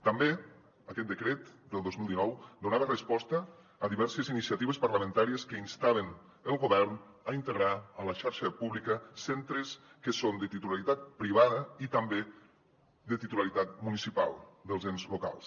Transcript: també aquest decret del dos mil dinou donava resposta a diverses iniciatives parlamentàries que instaven el govern a integrar a la xarxa pública centres que són de titularitat privada i també de titularitat municipal dels ens locals